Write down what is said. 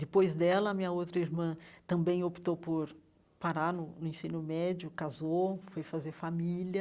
Depois dela, minha outra irmã também optou por parar no no ensino médio, casou, foi fazer família.